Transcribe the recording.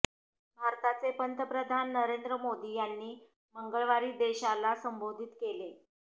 भारताचे पंतप्रधान नरेंद्र मोदी यांनी मंगळवारी देशाला संबोधित केले